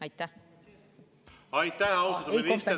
Aitäh, austatud minister!